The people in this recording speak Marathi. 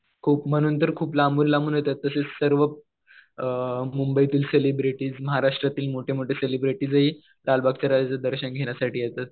खूप म्हणून तर खूप लांबून-लांबून येतात. तसेच सर्व मुंबईतील सेलिब्रिटीज महाराष्ट्रातील मोठे-मोठे सेलिब्रिटीजहि लालबागच्या राजाचं दर्शन घेण्यासाठी येतात.